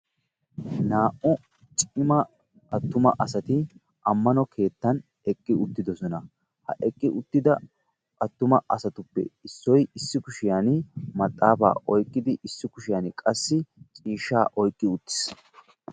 Naa''u cima attuma asati ammano keettan eqqi uttidosona. Ha eqqi uttida asatuppe issoy issi kushiyan maxaafaa oyqqidi issi kushiyan qassi ciishshaa oyqqi uttis.